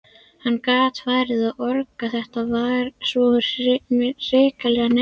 Hann gat farið að orga, þetta var svo hrikalega neyðarlegt.